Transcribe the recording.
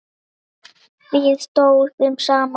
Við stóðum saman.